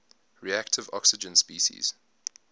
reactive oxygen species